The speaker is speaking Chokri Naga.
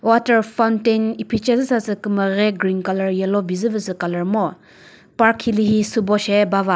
water fountain iphice zü sasü kümüre green colour yellow bizüvü sü colour ngo park hilühi sübo she bava.